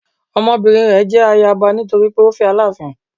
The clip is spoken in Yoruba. Ọmọbinrin rẹ jẹ ayaba nitori pe o fẹ Alaafin